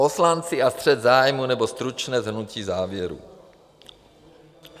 Poslanci a střet zájmů aneb stručné shrnutí závěrů.